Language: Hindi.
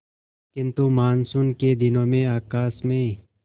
किंतु मानसून के दिनों में आकाश में